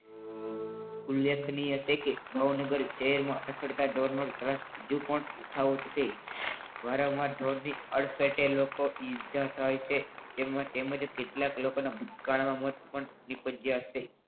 ઉલ્લેખનીય છે કે ભાવનગર રખડતા ઢોરનો ત્રાસ હજુ પણ યથાવત છે. વારંવાર ઢોરની અડફેટે લોકો ને ઇજા થાય છે. તેમ જ કેટલાક લોકોના આ કારણે મોત પણ નિપજા છે.